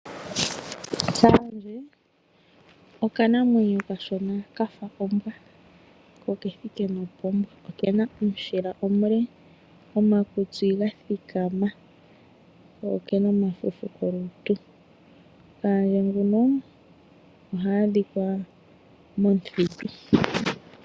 Kayandje okanamwenyo okashona kafa ombwa ko okethike nopombwa, okena omushila omule, omakutsi gathikama ko ekena omafufu kolutu. Kayandje nguno oha adhikwa momuthitu.